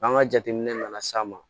N'an ka jateminɛ nana s'a ma